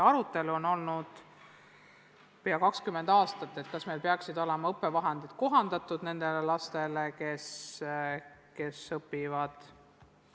Arutelu, kas meil peaksid olema kohandatud õppevahendid nendele lastele, on käinud pea 20 aastat.